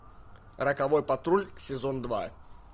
роковой патруль сезон два